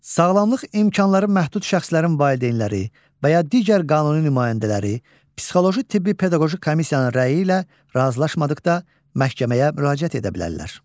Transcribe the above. Sağlamlıq imkanları məhdud şəxslərin valideynləri və ya digər qanuni nümayəndələri psixoloji-tibbi-pedaqoji komissiyanın rəyi ilə razılaşmadıqda məhkəməyə müraciət edə bilərlər.